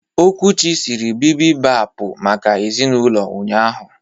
Okwuchi siri bibibapu maka ezinulo ụnyahụ.